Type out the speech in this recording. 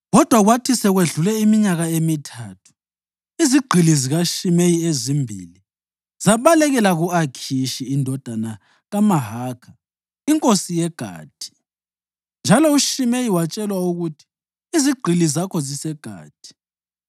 Kodwa kwathi sekwedlule iminyaka emithathu, izigqili zikaShimeyi ezimbili zabalekela ku-Akhishi indodana kaMahakha, inkosi yeGathi, njalo uShimeyi watshelwa ukuthi, “Izigqili zakho ziseGathi.”